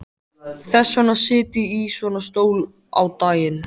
Þess vegna sit ég í svona stól á daginn.